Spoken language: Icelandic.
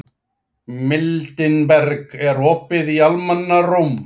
Mildinberg, er opið í Almannaróm?